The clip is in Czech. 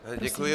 Děkuji.